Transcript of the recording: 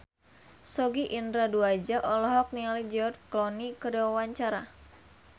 Sogi Indra Duaja olohok ningali George Clooney keur diwawancara